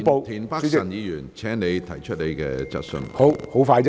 田北辰議員，請提出你的補充質詢。